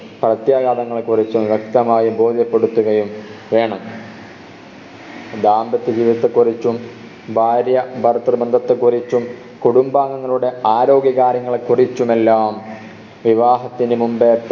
പ്രത്യാഘതങ്ങളെ കുറിച്ചും വ്യക്തമായി ബോധ്യപ്പെടുത്തുകയും വേണം ദാമ്പത്യ ജീവിതത്തെ കുറിച്ചും ഭാര്യാ ഭർതൃ ബന്ധത്തെ കുറിച്ചും കുടുംബാംഗങ്ങളുടെ ആരോഗ്യ കാര്യങ്ങളെ കുറിച്ചുമെല്ലാം വിവാഹത്തിന് മുമ്പ്